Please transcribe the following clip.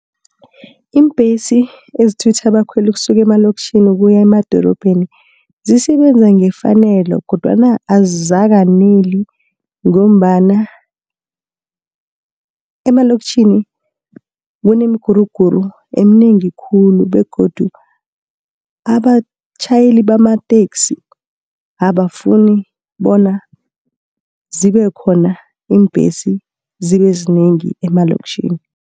Iimbhesi ezithutha abakhweli ukusuke emalokitjhini ukuya emadorobheni, zisebenza ngefanelo, kodwana azikaneli ngombana emalokitjhini kunemiguruguru emnengi khulu, begodu abatjhayeli bamateksi abafuni bona zibekhona iimbhesi, zibe zinengi emaloktjhini.